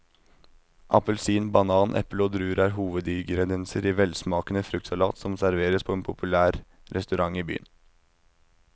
Appelsin, banan, eple og druer er hovedingredienser i en velsmakende fruktsalat som serveres på en populær restaurant i byen.